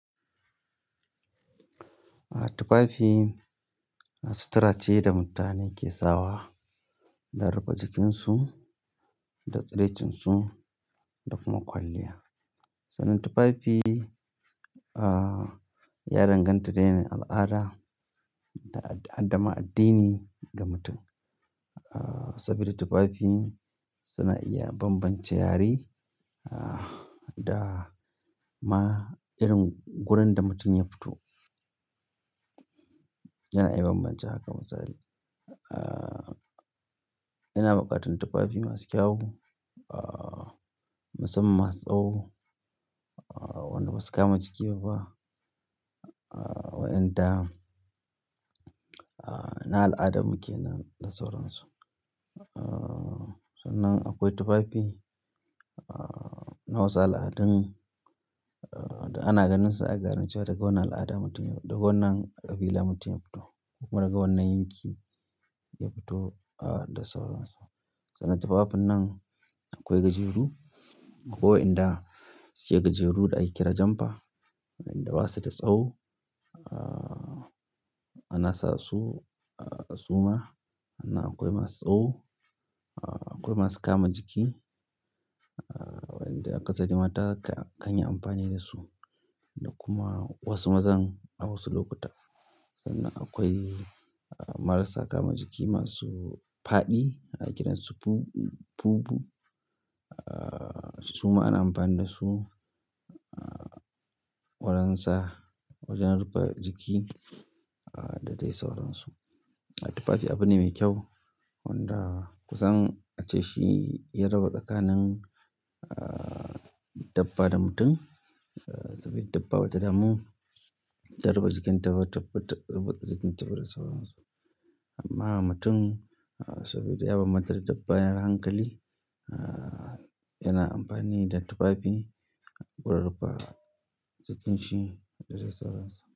Tufafi sutura ce da mutane ke sawa da rufe jikinsu da tsaraicinsu da kuma kwalliya. Sannan tufafi, ah, ya danganta da yanayin al'ada da addini ga mutum. Saboda tufafi suna iya bambance yare da ma gurin da mutum yafito yana iya bambance haka misali. Ah, yana buƙatar tufafi masu kyau, ah, musamman masu tsawo, wanda ba su kama jiki ba, ah, wai inda, ah, na al'ada muke nan da sauransu. Ah, sannan akwai tufafi na wasu al'adun da ana ganin su a garin cewa daga wannan al'ada mutum ne, daga wannan ƙabila mutum ya fito kuma daga wannan yanki ya fito, ah, da sauransu. Sannan tufafin nan akwai gajeru. Wa yan da suke gajeru da ake kira jumper. Wa yan da ba su da tsawo, ah, ana sa su, ah, suma ana akwai masu tsawo, akwai masu kama jiki. Wa yan da akasari mata kan yi amfani dasu da kuma wasu maza a wasu lokuta. Sannan akwai marasa kama jiki masu faɗi ake kiran su bubu. Ah, su ma ana amfani da su, ah, wurin sa, wurin rufe jiki da dai sauransu. Tufafi abu ne mai kyau wanda ku zan ce shi ya raba tsakanin, ah, dabba da mutum. Saboda dabba bata damu ta rufe jikinta taɓa da sauransu. Amman mutum saboda ya banbanta da dabba yana da hankali yana amfani da tufafi gurin rufe jikinshi da dai sauransu.